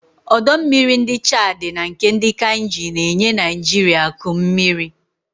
ọdọ mmiri ndi Chadi na nke ndi Kainji na-enye Naijiria akụ mmiri.